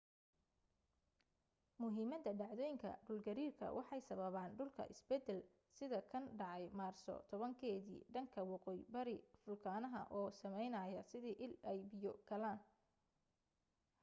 muhiimada dhacdooyinka dhul gariirka waxay sababan dhulka isbeddel sida kan dhacay maarso 10 keeda dhanka waqooyi bari fulkanaha oo sameynaya sida il ay biyo galaan